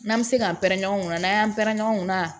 N'an bɛ se k'an pɛrɛn-kɛn u n'an y'an pɛrɛn-ɲɛn ɲɔgɔn na